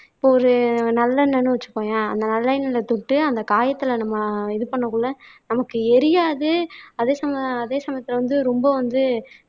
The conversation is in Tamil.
இப்ப ஒரு நல்லெண்ணெய்ன்னு வச்சுக்கோயேன் அந்த நல்லெண்ணெய் தொட்டு அந்த காயத்துல நம்ம இது பண்ணக்குள்ள நமக்கு எரியாது அதே ச அதே சமயத்துல வந்து ரொம்ப வந்து